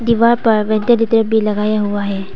दीवार पर वेंटिलेटर भी लगाया हुआ है।